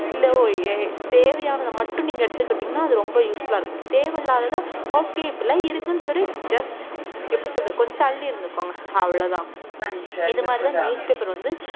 இல்ல ஓ~ ஏ~ தேவையானத மட்டும் நீங்க எடுத்துக்கிட்டீங்கன்னா அது ரொம்ப useful ஆ இருக்கும் தேவையில்லாததை okay இப்படி எல்லாம் இருக்குன்னு சொல்லி just எப்படி சொல்றது கொஞ்சம் தள்ளி இருந்துக்கோங்க அவ்வளவுதான் இது மாதிரிதான் newspaper வந்து